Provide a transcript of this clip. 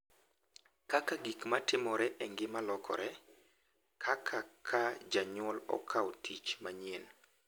Kaka gik ma timore e ngima lokore—kaka ka janyuol okawo tich manyien, .